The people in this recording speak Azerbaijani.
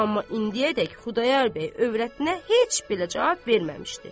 Amma indiyədek Xudayar bəy övrətinə heç belə cavab verməmişdi.